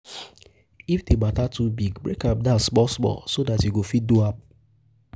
if di mata too big break am down small small so dat yu go fit yu go fit do am